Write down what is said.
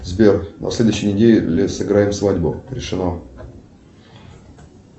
сбер на следующей неделе сыграем свадьбу решено